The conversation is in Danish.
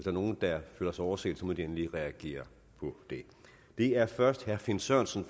er nogen der føler sig overset må de endelig reagere på det det er først herre finn sørensen